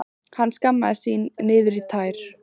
Hann skammaðist sín niður í tær.